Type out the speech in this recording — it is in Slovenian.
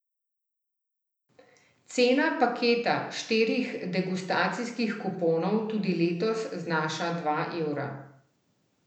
Cena paketa štirih degustacijskih kuponov tudi letos znaša dva evra.